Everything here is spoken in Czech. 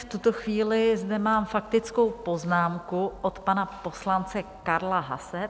V tuto chvíli zde mám faktickou poznámku od pana poslance Karla Haase.